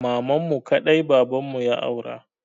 Mamanmu kaɗai babanmu ya aura.